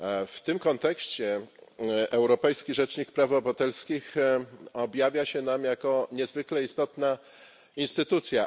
W tym kontekście Europejski Rzecznik Praw Obywatelskich objawia się nam jako niezwykle istotna instytucja.